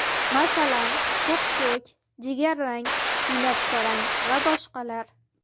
Masalan, to‘q ko‘k, jigarrang, binafsharang va boshqalar.